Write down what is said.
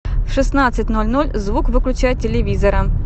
в шестнадцать ноль ноль звук выключай телевизора